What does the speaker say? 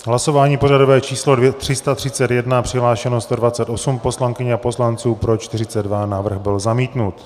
Hlasování pořadové číslo 331, přihlášeno 128 poslankyň a poslanců, pro 42, návrh byl zamítnut.